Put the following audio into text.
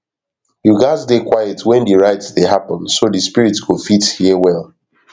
you gats dey quiet when di rite dey happen so di spirits got fit hear well